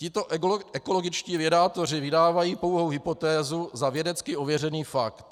Tito ekologičtí vědátoři vydávají pouhou hypotézu za vědecky ověřený fakt.